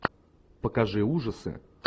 покажи ужасы